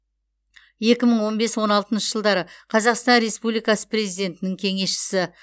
екі мың он бес он алтыншы жылдары қазақстан республикасы президентінің кеңесшісі